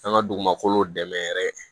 An ka dugumakolow dɛmɛ yɛrɛ